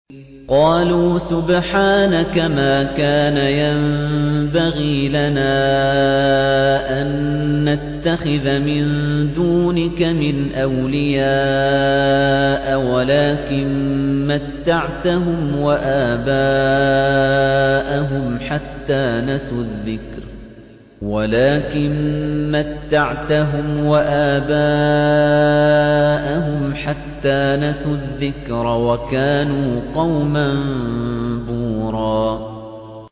قَالُوا سُبْحَانَكَ مَا كَانَ يَنبَغِي لَنَا أَن نَّتَّخِذَ مِن دُونِكَ مِنْ أَوْلِيَاءَ وَلَٰكِن مَّتَّعْتَهُمْ وَآبَاءَهُمْ حَتَّىٰ نَسُوا الذِّكْرَ وَكَانُوا قَوْمًا بُورًا